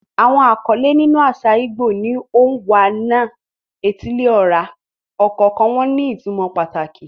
Àwọn àkọlé nínú àṣà ìgbò ni "Onwa-na-etili-ora," ọ̀kọ̀ọ̀kan wọn ní ìtumọ̀ pàtàkì.